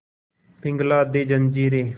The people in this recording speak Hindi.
पिघला दे जंजीरें